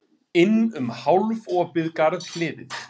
Inn um hálfopið garðhliðið.